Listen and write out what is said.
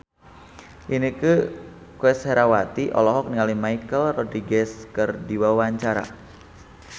Inneke Koesherawati olohok ningali Michelle Rodriguez keur diwawancara